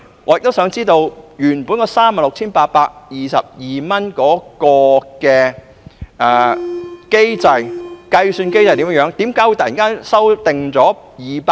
我也想知道，原訂上限 36,822 元的計算機制為何？